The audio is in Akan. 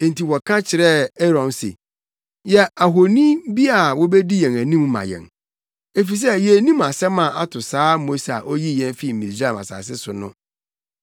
Enti wɔka kyerɛɛ Aaron se, ‘Yɛ ahoni bi a wobedi yɛn anim ma yɛn, efisɛ yennim asɛm a ato saa Mose a oyii yɛn fii Misraim asase so no!’